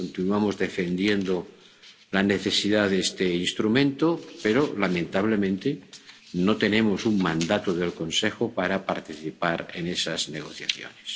Continuamos defendiendo la necesidad de este instrumento, pero, lamentablemente, no tenemos un mandato del Consejo para participar en esas negociaciones.